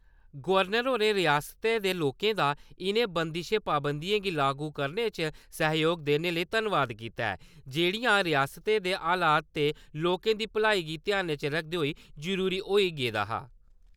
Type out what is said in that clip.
Governor होरें रियास्तै दे लोकें दा इ'नें बंदशें-पाबंदियें गी लागू करने च सैह्जोग देने लेई , धन्नबाद कीता ऐ जेहड़ियां रियास्तै दे हालात ते लोकें दी भलाई गी ध्यानै च रक्खदे होई जरूरी होई गेदा हा।